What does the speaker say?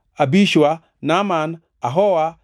Abishua, Naaman, Ahoa,